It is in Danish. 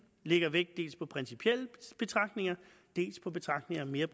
lægger vægt dels på principielle betragtninger dels på betragtninger af mere